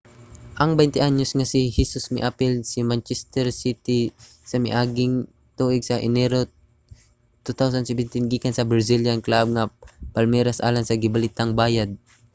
ang 21-anyos nga si hesus miapil sa manchester city sa miaging tuig sa enero 2017 gikan sa brazilian club nga palmeiras alang sa gibalitang bayad nga £27 milyon